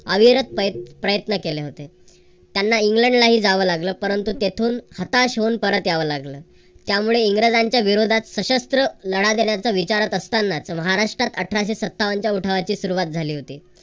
अविरत प्रयत्न केले होते. त्यांना इंग्लंडला ही जावे लागल परंतु तेथून हाताश होऊन परत यावं लागलं. त्यामुळे इंग्रजांच्या विरोधात सशस्त्र लढा देण्याचा विचार असताना महाराष्ट्रात अठराशे सत्तावन च्या उठावाची सुरुवात झाली होती.